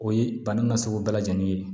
O ye bana nasugu bɛɛ lajɛlen ye